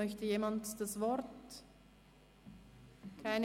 Möchte jemand das Wort ergreifen?